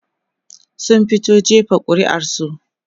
sun fito jefa ƙuri'ar su